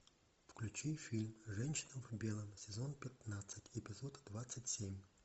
включи фильм женщина в белом сезон пятнадцать эпизод двадцать семь